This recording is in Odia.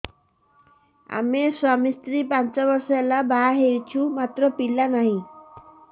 ଆମେ ସ୍ୱାମୀ ସ୍ତ୍ରୀ ପାଞ୍ଚ ବର୍ଷ ହେଲା ବାହା ହେଇଛୁ ମାତ୍ର ପିଲା ନାହିଁ